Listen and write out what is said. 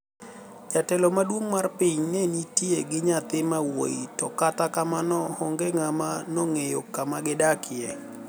jotelo maduonig mar piniy ni e niitie gi niyathi ma wuoyi to kata kamano honige nigama nonigeyo kuma gidakie.